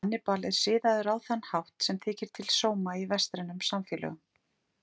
Hannibal er siðaður á þann hátt sem þykir til sóma í vestrænum samfélögum.